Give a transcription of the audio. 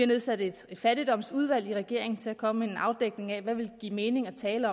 nedsat et fattigdomsudvalg i regeringen til at komme med en afdækning af hvad der vil give mening at tale